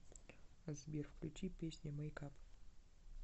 сбер включи песня мэйк ап